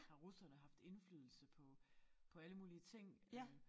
Har russerne haft indflydelse på på alle mulige ting øh